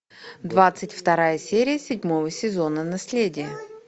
двадцать вторая серия седьмого сезона наследие